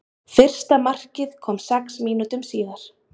Fyrsta markið kom sex mínútum síðar.